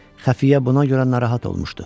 Xəfiyyə buna görə narahat olmuşdu.